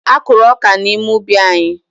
Akụrụ ọka n'ime ubi anyị.